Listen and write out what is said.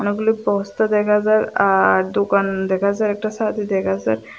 অনেকগুলি পোস্টার দেখা যার আর দোকান দেখা যায় একটা ছাতি দেখা যায়।